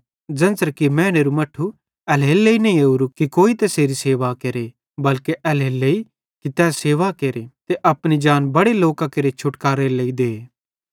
ज़ेन्च़रे कि मैनेरू मट्ठू एल्हेरेलेइ नईं ओरूए कि कोई तैसेरी सेवा केरे बल्के एल्हेरेलेइ कि सेवा केरे ते अपनी जान बड़े लोकां केरे छुटकारेरे लेइ दे